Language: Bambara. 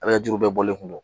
A bɛ ka juru bɛɛ bɔlen kun don